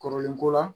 Kɔrɔlen ko la